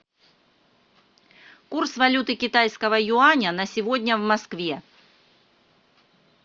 курс валюты китайского юаня на сегодня в москве